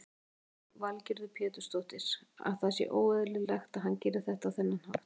Lillý Valgerður Pétursdóttir: Að það sé óeðlilegt að hann geri þetta á þennan hátt?